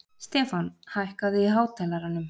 Stefán, hækkaðu í hátalaranum.